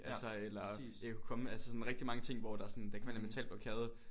Altså eller ikke at kunne komme altså sådan rigtig mange ting hvor der sådan kan være en eller anden mental blokade